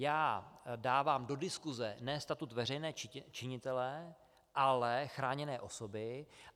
Já dávám do diskuse ne statut veřejného činitele, ale chráněné osoby.